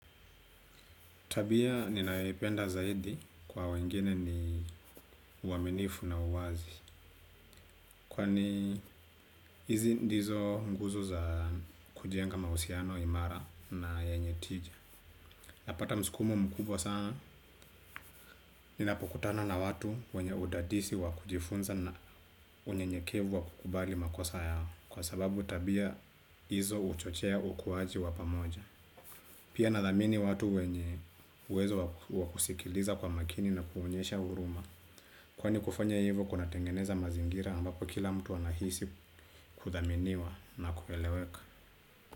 Tabia ninayoipenda zaidi kwa wengine ni uaminifu na uwazi. Kwani hizi ndizo nguzu za kujenga mahusiano imara na yenye tija. Napata msukumo mkubwa sana. Ninapokutana na watu wenye udadisi wakujifunza na unyenyekevu wakukubali makosa yao. Kwa sababu tabia hizo huchochea ukuaji wapamoja. Pia nathamini watu wenye uwezo wakusikiliza kwa makini na kuonyesha huruma. Kwani kufanya hivo kuna tengeneza mazingira ambapo kila mtu anahisi kuthaminiwa na kueleweka.